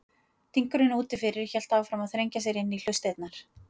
Dynurinn úti fyrir hélt áfram að þrengja sér inn í hlustirnar.